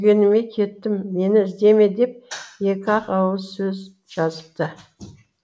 сүйгеніме кеттім мені іздеме деп екі ақ ауыз сөз жазыпты